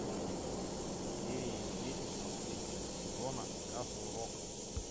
серия десять последнего сезона касл рок